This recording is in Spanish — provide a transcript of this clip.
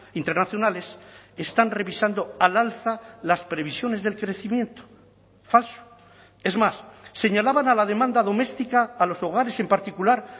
internacionales están revisando al alza las previsiones del crecimiento falso es más señalaban a la demanda doméstica a los hogares en particular